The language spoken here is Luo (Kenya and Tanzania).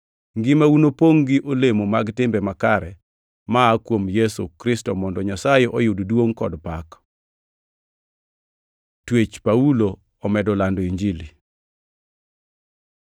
Ngimau nopongʼ gi olemo mag timbe makare maa kuom Yesu Kristo mondo Nyasaye oyud duongʼ kod pak. Twech Paulo omedo lando Injili